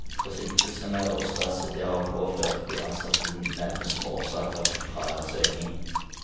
Forsinkelsene og stresset det har påført de ansatte nevnes som årsaker til fraværsøkningen.